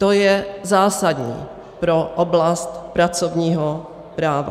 To je zásadní pro oblast pracovního práva.